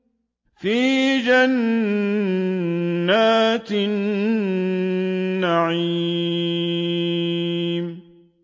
فِي جَنَّاتِ النَّعِيمِ